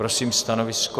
Prosím stanovisko?